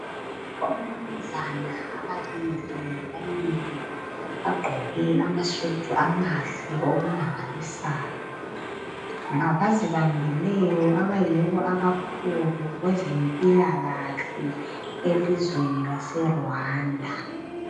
Abamnumzana ababili bamile bagqoke amasudu amahle okumangalisayo. Ngabazibambileyo abayibo abakhulu kwezempilakahle elizweni laseRwanda.